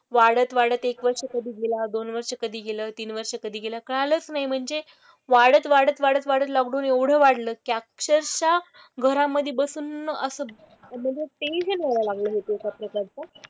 वाढत वाढत एक वर्ष कधी गेला, दोन वर्ष कधी गेलं, तीन वर्ष कधी गेलं कळालंच नाही म्हणजे वाढत वाढत वाढत वाढत लॉकडाउन एवढं वाढलं की अक्षरशः घरामधे बसून असं म्हणजे ते जे मला लागलं होतं चं,